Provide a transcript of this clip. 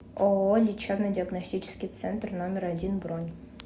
ооо лечебно диагностический центр номер один бронь